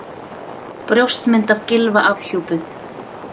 Brjóstmynd af Gylfa afhjúpuð